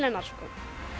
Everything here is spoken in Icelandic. hennar sko